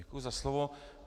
Děkuji za slovo.